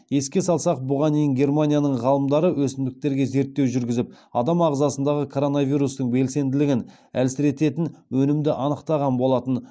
еске салсақ бұған дейін германияның ғалымдары өсімдіктерге зерттеу жүргізіп адам ағзасындағы коронавирустың белсенділігін әлсірететін өнімді анықтаған болатын